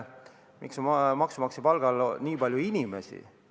Miks on maksumaksja palgal nii palju inimesi?